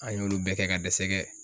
An y'olu bɛɛ kɛ ka dɛsɛ kɛ.